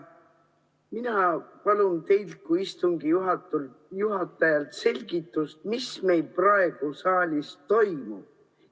Mina palun teilt kui istungi juhatajalt selgitust, mis meil praegu saalis toimub.